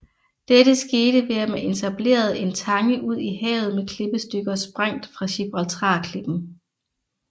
Dette skete ved at man etablerede en tange ud i havet med klippestykker sprængt fra Gibraltarklippen